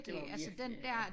Det var virkelig ja